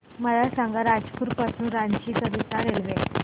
मला सांगा रायपुर पासून रांची करीता रेल्वे